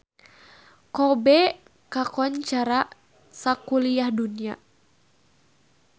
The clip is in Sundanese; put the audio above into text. Kobe kakoncara sakuliah dunya